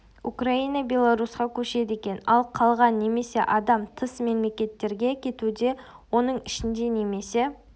украина белорусьқа көшеді екен ал қалған немесе адам тыс мемлекет терге кетуде оның ішінде немнсе